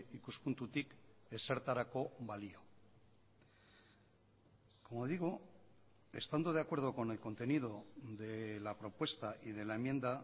ikuspuntutik ezertarako balio como digo estando de acuerdo con el contenido de la propuesta y de la enmienda